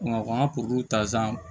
an ka ta san